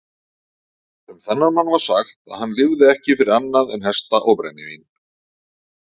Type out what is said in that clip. Um þennan mann var sagt að hann lifði ekki fyrir annað en hesta og brennivín.